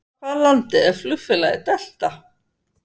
Frá hvaða landi er flugfélagið Delta?